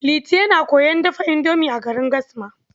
Liti yana koyon dafa indomi a garin Gasma.